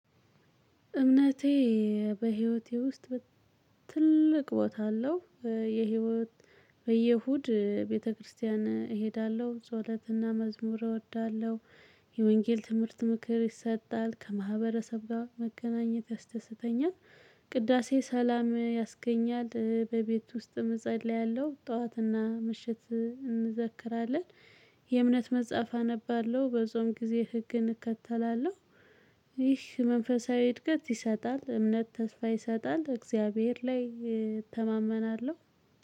እምነቴ በህይወቴ ውስጥ ትልቅ ቦታ አለው። የህይወት በየ እሁድ ቤተክርስቲያን እሄዳለሁ ፆለትና መዝሙር እወዳለሁ። የወንጌል ትምህርት ምክር ይሰጣል ከማህበረሰብ ጋር መገናኘት ያስደስተኛል። ቅዳሴ ሰላም ያስገኛል በቤት ውስጥም እፀልያለሁ ጠዋትና ምሽት እንዘክራለን። የእምነት መጽሐፍ አነባለሁ በጾም ጊዜ ህግን እከተላለሁ። ይህ መንፈሳዊ እድገት ይሰጣል እምነት ተስፋ ይሰጣል እግዚአብሔር ላይ እተማመናለሁ።